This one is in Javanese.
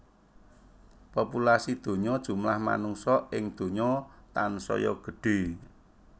Populasi donya jumlah manungsa ing donya tansaya gedhe